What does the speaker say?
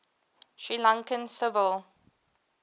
sri lankan civil